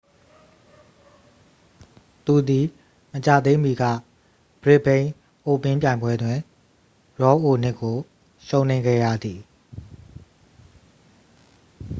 သူသည် မကြာသေးမီက ဘရစ်စ်ဘိန်းအိုးပင်းပြိုင်ပွဲတွင် ရော်အိုနစ်ကို ရှုံးနိမ့်ခဲ့ရသည်